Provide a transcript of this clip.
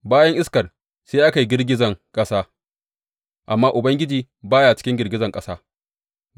Bayan iskar sai aka yi girgizar ƙasa, amma Ubangiji ba ya cikin girgizar ƙasa.